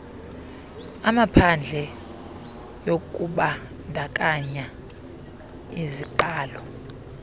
amaphadle yokubandakanya iziqalo